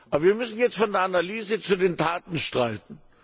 Aber wir müssen jetzt von der Analyse zu den Taten schreiten.